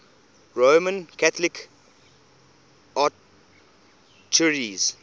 roman catholic archdiocese